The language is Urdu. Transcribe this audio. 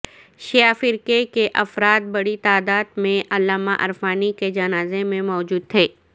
شیعہ فرقے کے افراد بڑی تعداد میں علامہ عرفانی کے جنازے میں موجود تھے